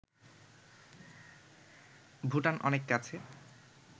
ভুটান অনেক কাছে